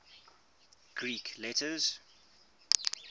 greek letters